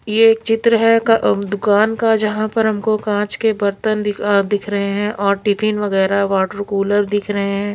ये एक चित्र है क दुकान का जहां पर हमको कांच के बर्तन दिख रहे है और टिफिन वगैरह वाटर कूलर दिख रहे है।